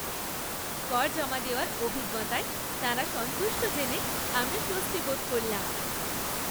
কর জমা দেওয়ার অভিজ্ঞতায় তাঁরা সন্তুষ্ট জেনে আমরা স্বস্তি বোধ করলাম।